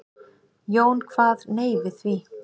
Jón kvað nei við því.